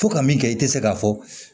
Fo ka min kɛ i tɛ se k'a fɔ